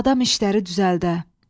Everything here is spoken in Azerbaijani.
Adam işləri düzəldə.